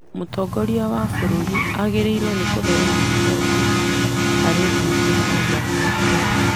mũtongoria wa bũrũri agĩrĩirũo nĩ kũheyana riboti harĩ mbunge o mwaka.